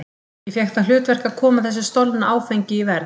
Ég fékk það hlutverk að koma þessu stolna áfengi í verð.